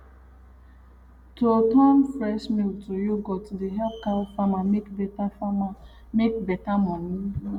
to turn fresh milk to yoghurt dey help cow farmer make better farmer make better money